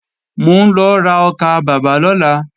Mò ń lọ ra ọkàbàbà lọ́la